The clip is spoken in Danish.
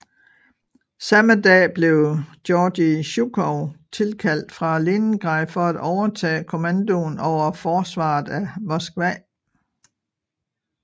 Samme dag blev Georgij Zjukov tilkaldt fra Leningrad for at overtage kommandoen over forsvaret af Moskva